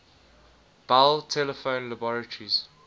bell telephone laboratories